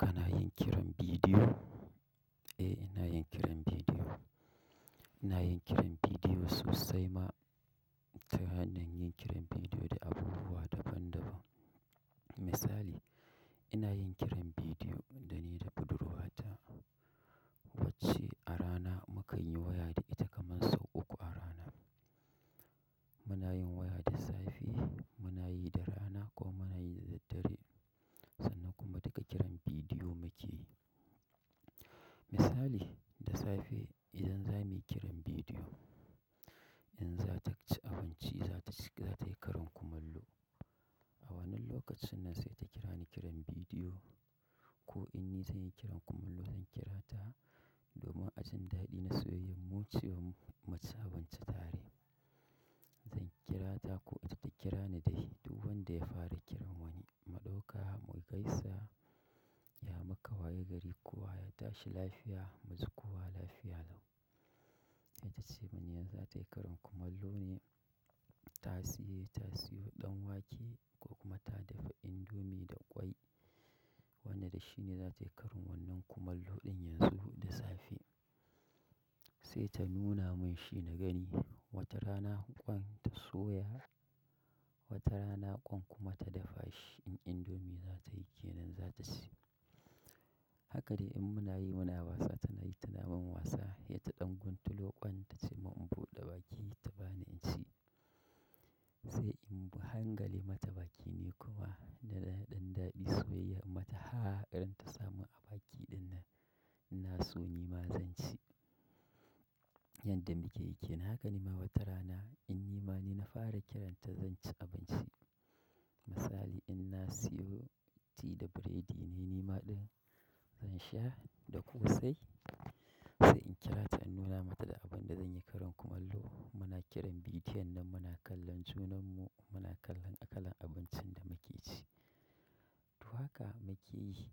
Kana yin kiran bidiyo? Eh, ina yin kiran bidiyo. Ina yin kiran bidiyo sosai ma, ta hanyar yin kiran bidiyo da abubuwa daban daban. Misali, ina yin kiran bidiyo da ni da budurwata wacce a rana mukanyi waya da ita kaman sau uku a rana. Muna yin waya da safe, muna yi da rana ko muna yi da daddare sannan kuma duka kiran bidiyo muke yi. Misali, da safe idan za muyi kiran bidiyo, in za ta ci abinci, za ta yi karin kumallo. A wannan lokacin nan sai ta kira ni kiran bidiyo ko in ni zan yi kiran kumallo zan kira ta domin ajin daɗi na soyayyar mu cewan mu ci abinci tare. Zan kira ta ko ita ta kira ni dai duk wanda ya fara kiran wani. Mu ɗauka, mu gaisa, ya muku waye gari kowa, ya tashi lafiya, mu ji kowa lafiya lau. Tacemin zatayi karin kumallone tasiye tasiyo ɗanwake ko kuma ta dafa indomee da kwai wanda dashine zata yi karin wannan kumallo ɗin yanzu da safe, saita nuna mun shi na gani wata rana ƙwan ta soya, wata rana ƙwan kuma ta dafa shi in indomee zata yi kenan zata ci. Haka dai in muna yi muna wasa tana yi tana min wasa. Ita ta ɗan guntulo ƙwan ta ce mun in buɗe baki ta bani in ci. Sai in hangale mata baki ni kuma na ɗan daɗi soyayyar in mata ha ta dan samun a baki ɗin nan. Na so ni ma zan ci. Yanda muke yi kenan. Haka ne ma wata rana in ni ma ni na fara kiranta zan ci abinci. Misali in na siyo tea da biredi ne ni ma ɗin zan sha da ƙosai. Sai in kira in nuna mata da abun da zan yi kumallo muna kiran bidiyon nan muna kallon junanmu muna kallan kalar abuncin da muke ci to haka muke yi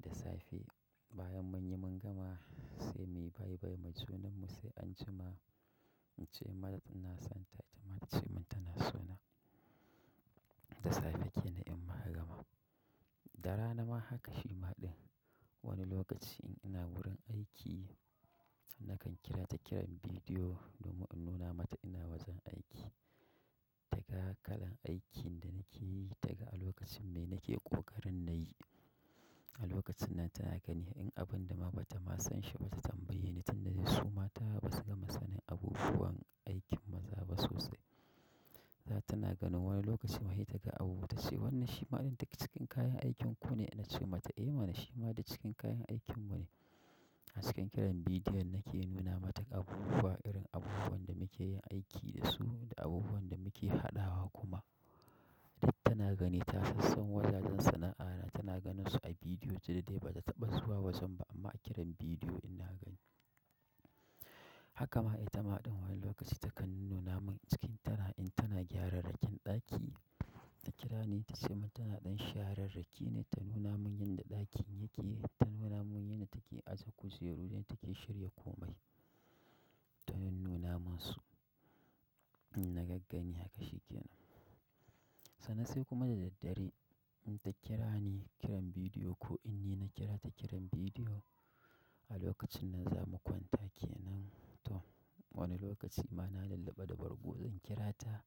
da safe bayan mun yi mun gama sai muyi bye bye muyi wa junan mu sai anjima in ce mata ina son ta, ita ma ta ce mun tana so na. Da safe ke nan in muka gama. Da rana ma haka shi ma ɗin. Wani lokaci in ina wurin aiki nakan kira ta kiran bidiyo domin in nuna mata ina wajen aiki. Da ga kalan aikin da nake yi, daga a lokacin mai nake ƙoƙarin na yi. A lokacin nan tana ganin in abun ma dama bata ma son shi ba ta tambaye ni tun da dai su mata basu gama sanin abubuwan aikin maza ba sosai. Tana ganin wani lokacin ma tace wannan duk daga cikin kayan aikin ku ne(na ce mata eh mana shima duk cikin kayan aikin mu ne. A cikin kiran bidiyon nake nuna mata abubuwa irin abubuwan da muke yin aiki da su da abubuwan da muke haɗawa kuma. Duk tana gani ta sassan wajajan sana'a na tana ganin su a bidiyo sai dai bata taɓa zuwa wajen ba amma a kiran bidiyo ina gani. Haka ma ita ma ɗin wani lokaci takan nuna mun cikin tana in tana gyarar rakin ɗaki ta kira ni ta ce mun tana ɗan sharer raki ne ta nuna mun yadda ɗakin yake, ta nuna mun yanda take take aje kujerun da yadda take shirya komai. Tana nuna mun su. Na gaggani haka shi ke nan. Sannan sai kuma da daddare in ta kira ni kiran bidiyo ko in ni na kira ta kiran bidiyo a lokacin nan zamu kwanta kenan tom wani lokacin ma na lilliba da bargo zan kirata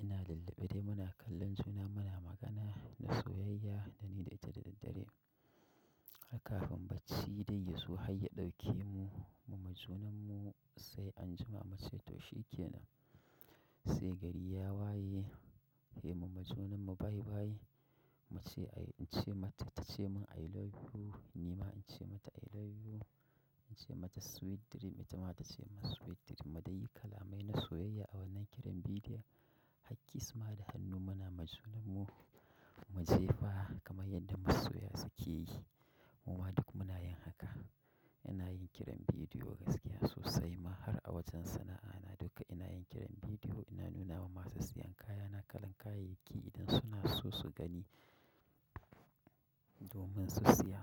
ina lullabe dai muna kallon juna muna magana da soyayya da ni da ita da daddare. Har kafin bacci dai ya zo har ya ɗauke mu, mu ma junan mu sai anjima mu ce to shi ke nan. Sai gari ya waye, sai mu ma junan mu bye bye. Muce mata, in ce mata tace min i love you, nima nace mata i love you in ce mata sweet dream, ita ma ta ce ma sweet dream. Mu dai yi kalamai na soyayya a wannan kiran bidiyon. Har kiss ma da hannu muna ma junan mu, mu jefa kamar yadda masoya suke yi. Muma duk muna yin haka. Ina yin kiran bidiyo gaskiya sosai ma har a wajen sana'a na duka ina yin kiran bidiyo ina nuna ma masu siyan kaya na kalan kayayyaki idan suna so su gani domin su siya.